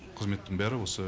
қызметтің бәрі осы